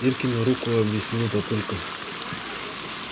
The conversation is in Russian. иркину руку объяснил папулька